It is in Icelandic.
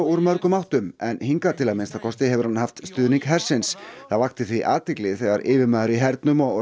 úr mörgum áttum en hingað til að minnsta kosti hefur hann haft stuðning hersins það vakti því athygli þegar yfirmaður í hernum og